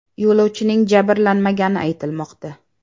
Yo‘lovchining jabrlanmagani aytilmoqda.